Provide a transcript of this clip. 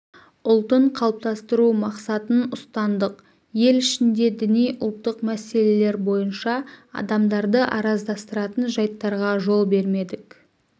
ұлтын қалыптастыру мақсатын ұстандық ел ішінде діни ұлттық мәселелер бойынша адамдарды араздастыратын жайттарға жол бермедік